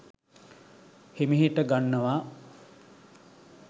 හිමිහිට ගන්නවා